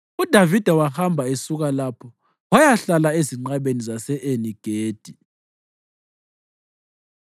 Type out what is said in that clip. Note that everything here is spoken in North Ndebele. UDavida wahamba esuka lapho wayahlala ezinqabeni zase-Eni-Gedi.